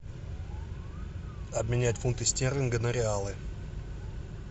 обменять фунты стерлинга на реалы